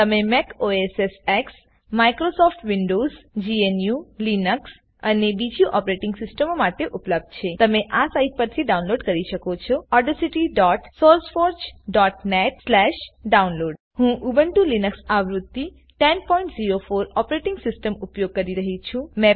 તે Mac OS X Microsoft Windows GNU Linux અને બીજી ઓપરેટિંગ સિસ્ટમો માટે ઉપલબ્ધ છે તમે આ સાઈટ પરથી ડાઉનલોડ કરી શકો છો audacitysourceforgenetડાઉનલોડ હું ઉબુન્ટુ લીનક્સ આવૃત્તિ 1004 ઓપરેટિંગ સિસ્ટમ ઉપયોગ કરી રહી છું